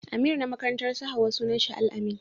Amir na makarantar su Hauwa sunan shi Al-amin.